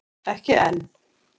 Ekki enn